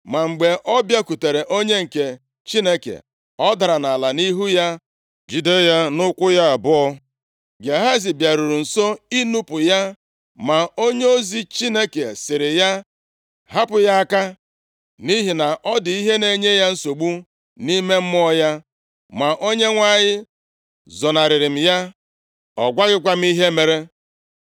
Ma mgbe ọ bịakwutere onye nke Chineke, ọ dara nʼala nʼihu ya, jide ya nʼụkwụ ya abụọ. Gehazi bịaruru nso inupu ya, ma onyeozi Chineke sịrị ya, “Hapụ ya aka, nʼihi na ọ dị ihe na-enye ya nsogbu nʼime mmụọ ya, ma Onyenwe anyị zonarịrị m ya, ọ gwaghịkwa m ihe mere.”